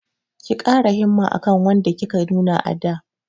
Ki ƙara himma akan wadda kika nuna a da!